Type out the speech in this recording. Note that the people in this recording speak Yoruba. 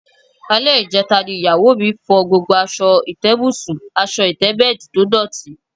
Alé̩ ìje̩ta ni ìyàwó mi fo̩ gbogbo as̩o̩ ìté̩bùsùn/as̩o̩ ìté̩bè̩è̩dì tó dòtí